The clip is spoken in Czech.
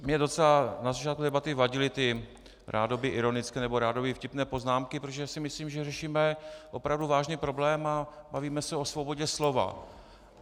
Mě docela na začátku debaty vadily ty rádoby ironické nebo rádoby vtipné poznámky, protože si myslím, že řešíme opravdu vážný problém a bavíme se o svobodě slova.